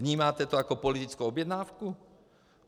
Vnímáte to jako politickou objednávku?